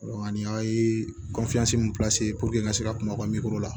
ani a ye min n ka se ka kuma u ka la